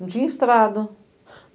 Não tinha estrada.